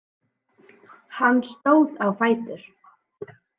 Hann stóð á fætur.